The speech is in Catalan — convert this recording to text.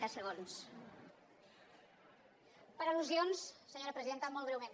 per al·lusions senyora presidenta molt breument